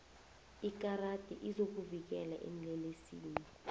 ikarati izokuvikela eenlelesini